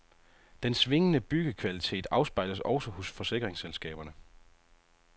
Den svingende byggekvalitet afspejles også hos forsikringsselskaberne.